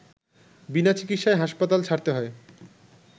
বিনা চিকিৎসায় হাসপাতাল ছাড়তে হয়